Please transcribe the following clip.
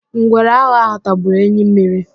Ngwere aghọ ahụ tagburu enyi mmiri.